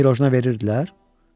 Pirojna verirdilər?